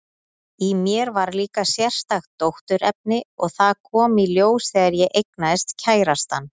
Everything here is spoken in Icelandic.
Í mér var líka sérstakt dótturefni, og það kom í ljós þegar ég eignaðist kærastann.